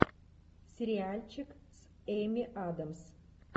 сериальчик с эми адамс